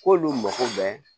K'olu mako bɛ